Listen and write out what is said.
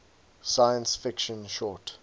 science fiction short